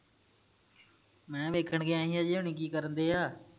ਮੈਂ ਵੇਖਣ ਗਿਆ ਹੀ ਅਜੇ ਹੁਨੀ ਕੀ ਕਰਨ ਦਏ ਆ